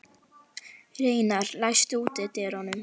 Reynar, læstu útidyrunum.